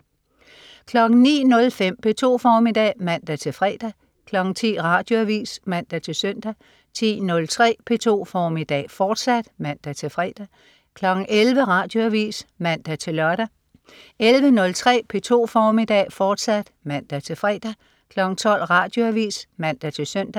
09.05 P2 formiddag (man-fre) 10.00 Radioavis (man-søn) 10.03 P2 formiddag, fortsat (man-fre) 11.00 Radioavis (man-lør) 11.03 P2 formiddag, fortsat (man-fre) 12.00 Radioavis (man-søn)